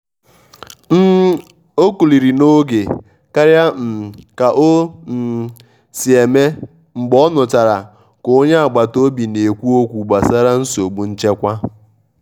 um ọ́ kúlirí n’ógé kárịá um ká ó um sí émé mgbé ọ́ nụ́chará ká ónyé àgbátá òbí ná-ékwú ókwú gbásárá nsógbú nchékwà.